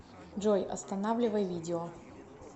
джой останавливай видео